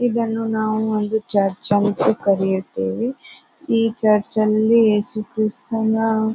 ಇದನ್ನು ನಾವು ಒಂದು ಚರ್ಚ್ ಅಂತ ಕರೆಯುತ್ತೇವೆ. ಈ ಚರ್ಚ್ ಅಲ್ಲಿ ಯೇಸು ಕ್ರಿಸ್ತನ --